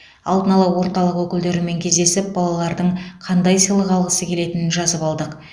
алдын ала орталық өкілдерімен кездесіп балалардың қандай сыйлық алғысы келетінін жазып алдық